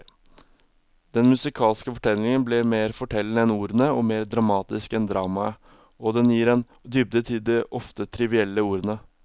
Den musikalske fortellingen blir mer fortellende enn ordene og mer dramatisk enn dramaet, og den gir en dybde til de ofte trivielle ordene.